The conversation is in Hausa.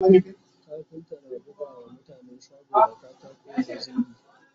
kafinta na buga wa mutane shago da katako da zingi